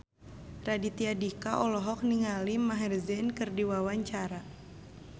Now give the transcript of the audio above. Raditya Dika olohok ningali Maher Zein keur diwawancara